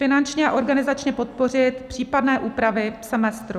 Finančně a organizačně podpořit případné úpravy semestru.